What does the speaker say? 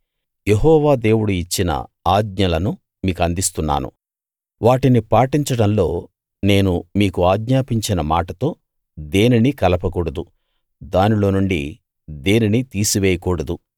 యెహోవా దేవుడు ఇచ్చిన ఆజ్ఞలను మీకందిస్తున్నాను వాటిని పాటించడంలో నేను మీకు ఆజ్ఞాపించిన మాటతో దేనినీ కలపకూడదు దానిలో నుండి దేనినీ తీసివేయకూడదు